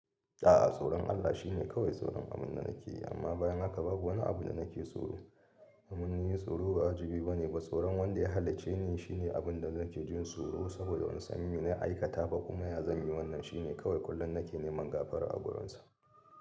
A'a, tsoron Allah shi ne kawai tsoron abun da nake yi, amma bayan haka babu wani abu da nake tsoro. Mun yi tsoro ba ajibi ba ne ba tsoron wanda ya halicce ni shine abin da nake jin tsoro saboda ban san me na aikata ba kuma ya zanyi wannan shine kawai kullum nake neman gafara a wurinsa.